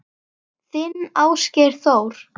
Þinn Ásgeir Þór.